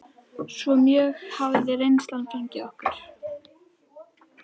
Svo mjög hafði reynslan fengið á okkur.